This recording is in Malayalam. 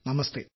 നമസ്തേ